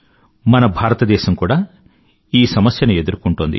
మన భారతదేశం కూడా ఈ సమస్యను ఎదుర్కుంటోంది